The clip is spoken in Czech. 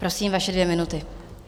Prosím, vaše dvě minuty.